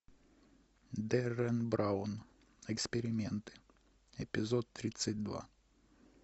деррен браун эксперименты эпизод тридцать два